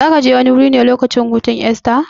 Zakaje wani wuri ne lokacin hutun Esta?